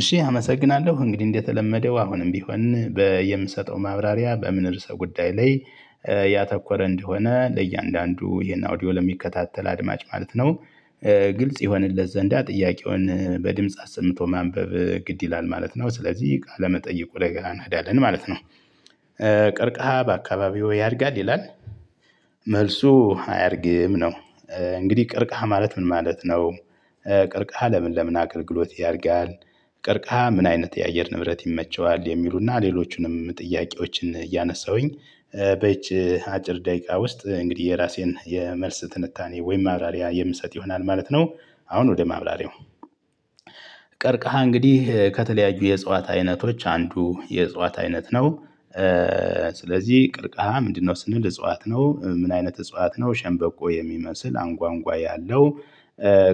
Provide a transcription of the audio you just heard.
እሺ አመሰግናለሁ እንግዲህ እንደተለመደው አሁንም ቢሆን በየምሰጠው ማብራሪያ በምን ርዕሰ ጉዳይ ላይ ያተኮረ እንደሆነ ለእያንዳንዱ ይሄን አውዲዮ ለሚከታተል አድማጭ ማለት ነው። ግልጽ ይሆንለት ዘንዳ ጥያቄውን በድምጽ አስምቶ ማንበብ ግድ ይላል ማለት ነው ስለዚህ ቃለመጠይቁ ላይ ገና እንሄዳለን ማለት ነው። ቀርክሃ በአካባቢው ያድጋል ይላል? መልሱ አያድግም ነው። እንግዲህ ቅርቅሃ ማለት ምን ማለት ነው? ቅርቅሃ ለምን ለምን አገልግሎት ያድጋል? ቅርቅሃ ምን አይነት የአየር ንብረት ይመቸዋል የሚሉና ሌሎቹንም ጥያቄዎችን እያነሳሁኝ በዚህች አጭር ደቂቃ ውስጥ እንግዲህ የራሴን የመልስ ትንታኔ ወይም ማብራሪያ የምሰጥ ይሆናል ማለት ነው። አሁን ወደ ማብራሪያው። ቀርከሃ እንግዲህ ከተለያዩ የእጽዋት አይነቶች አንዱ የእጽዋት አይነት ነው። ስለዚህ ቅርቀሃ ምንድነው ስንል? እጽዋት ነው ምን አይነት እጽዋት ነው ሸንበቆ የሚመስል አንጓ አንጓ ያለው።